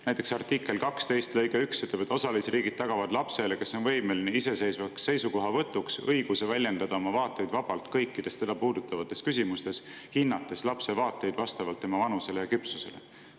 Näiteks artikli 12 lõige 1 ütleb, et osalisriigid tagavad lapsele, kes on võimeline iseseisvaks seisukohavõtuks, õiguse väljendada oma vaateid vabalt kõikides teda puudutavates küsimustes, hinnates lapse vaateid vastavalt tema vanusele ja küpsusele.